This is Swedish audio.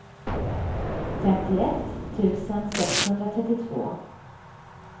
femtioett tusen sexhundratrettiotvå